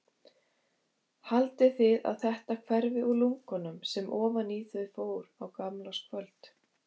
Haldið þið að þetta hverfi úr lungunum sem ofan í þau fór á gamlárskvöld?